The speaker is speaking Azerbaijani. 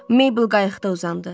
Meybl qayıqda uzandı.